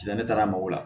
Ne taara mɔgɔw la